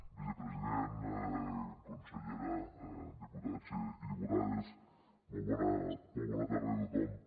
vicepresident consellera diputats i diputades molt bona tarda a tothom